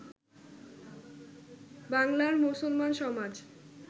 বাংলার মুসলমান সমাজ